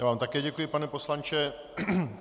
Já vám také děkuji, pane poslanče.